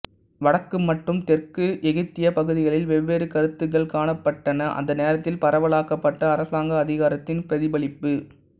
வடக்கு மற்றும் தெற்கு எகிப்திய பகுதிகளில் வெவ்வேறு கருத்துக்கள் காணப்பட்டன அந்த நேரத்தில் பரவலாக்கப்பட்ட அரசாங்க அதிகாரத்தின் பிரதிபலிப்பு